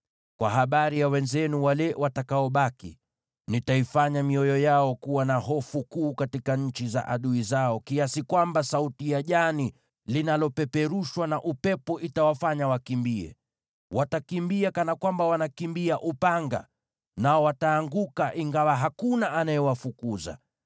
“ ‘Kwa habari ya wenzenu wale watakaobaki, nitaifanya mioyo yao kuwa na hofu kuu katika nchi za adui zao, kiasi kwamba sauti ya jani linalopeperushwa na upepo itawafanya wakimbie. Watakimbia kana kwamba wanakimbia upanga, nao wataanguka, ingawa hakuna anayewafukuza.